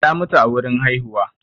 ta mutu a wurin haihuwa